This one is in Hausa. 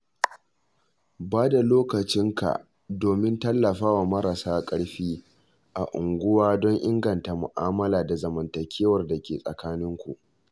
Ba da lokacin ka domin tallafawa marasa ƙarfi a unguwa don inganta mu'amala da zamantakewar da ke tsakanin ku.